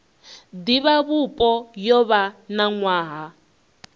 divhavhupo yo vha na nwaha